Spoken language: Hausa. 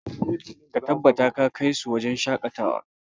Ka tabbata ka kai su wajen shakatawa!